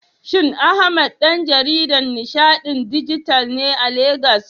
Shin Ahmad ɗan jaridan nishaɗin dijital ne a Legas?